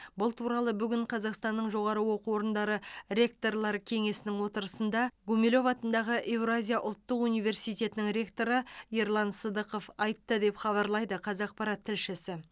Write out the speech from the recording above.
бұл туралы бүгін қазақстанның жоғары оқу орындары ректорлары кеңесінің отырысында гумилев атындағы еуразия ұлттық университетінің ректоры ерлан сыдықов айтты деп хабарлайды қазақпарат тілшісі